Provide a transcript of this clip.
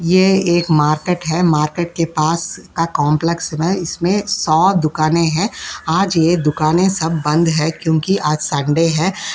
ये एक मार्केट है। मार्केट के पास का कॉम्प्लेक्स इसमें सौ दुकानें हैं आज ये दुकानें सब बंद है क्योंकि आज सन्डे है।